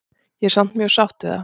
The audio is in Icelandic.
Ég er samt mjög sátt við það.